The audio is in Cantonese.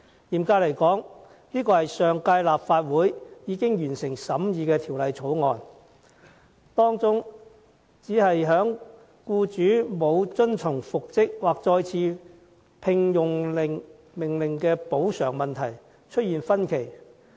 嚴格來說，上屆立法會已近乎完成審議《2016年僱傭條例草案》，當中只是就僱主不遵從復職或再次聘用令的補償金額出現分歧。